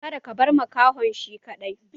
Kada ka bar makahon shi kaɗai!